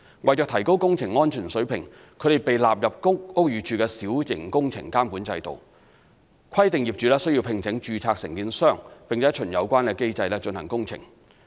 為提高工程安全水平，它們被納入屋宇署小型工程監管制度，規定業主須聘請註冊承建商並循有關機制進行工程。